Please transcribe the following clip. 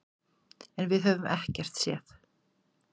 En við höfum ekkert séð.